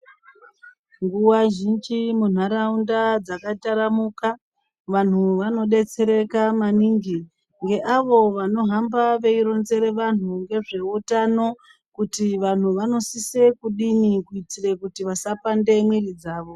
Nguva zhinji munharaunda dzakataramuka vanhu vanodetsereka maningi ngeavo vanohamba veironzera vantu ngezveutano kuti vantu vanosise kudini kuti vasapande mwiri dzavo.